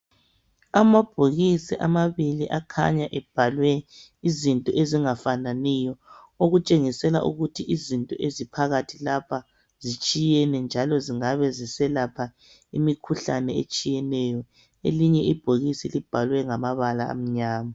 Amabhokisi amabili akhanya ebhalwe izinto ezingafananiyo, okutshengisela ukuthi izinto eziphakathi lapha zitshiyene njalo zingabe ziselapha imikhuhlane etshiyeneyo. Elinye ibhokisi libhalwe ngamabala amnyama.